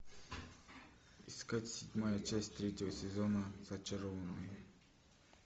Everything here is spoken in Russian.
искать седьмая часть третьего сезона зачарованные